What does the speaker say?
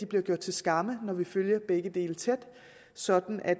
bliver gjort til skamme når vi følger begge dele tæt sådan at